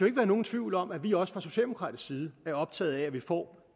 ikke være nogen tvivl om at vi også fra socialdemokratisk side er optaget af at vi får